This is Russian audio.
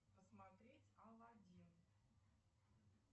посмотреть аладдин